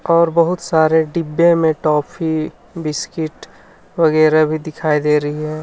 और बहुत सारे डिब्बे में टॉफी बिस्किट वगैरा भी दिखाई दे रही है.